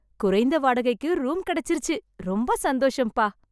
குறைந்த வாடகைக்கு ரூம் கிடச்சுருச்சு. ரொம்ப சந்தோஷம்பா.